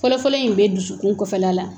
Fɔlɔfɔlɔ in bɛ dusukun kɔfɛla la